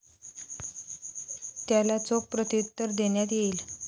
त्याला चोख प्रत्युत्तर देण्यात येईल.